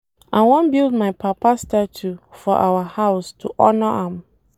I wan build my papa statue for our house to honor am